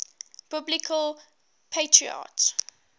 biblical patriarchs